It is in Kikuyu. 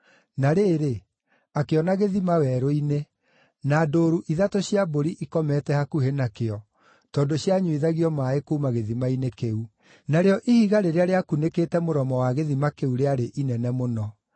Na rĩrĩ, akĩona gĩthima werũ-inĩ, na ndũũru ithatũ cia mbũri ikomete hakuhĩ nakĩo, tondũ cianyuithagio maaĩ kuuma gĩthima-inĩ kĩu. Narĩo ihiga rĩrĩa rĩakunĩkĩte mũromo wa gĩthima kĩu rĩarĩ inene mũno.